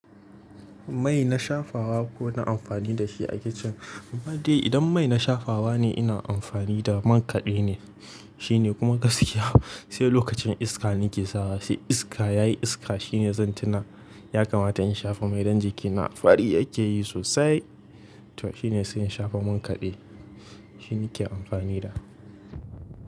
Mai na shafawa ku na amfani da shi a kicin? Mai dai idan mai na shafawa ne ina amfani da man kaɗe ne, shi ne kuma gaskiya. Sai lokacin iska nake sawa, sai iska ya yi iska shine zan tuna ya kamata in shafa. Mai don jikina fari yake yi sosai. To shine sai in shafa man kaɗe, shi nake amfani da.